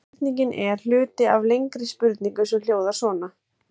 Spurningin er hluti af lengri spurningu sem hljóðar svona: